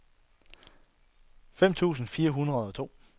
femten tusind fire hundrede og to